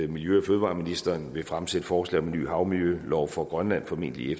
miljø og fødevareministeren vil fremsætte forslag om en ny havmiljølov for grønland formentlig i